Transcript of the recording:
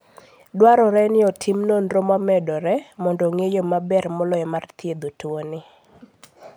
Dwarore ni otim nonro momedore mondo ong'e yo maber moloyo mar thiedho tuoni.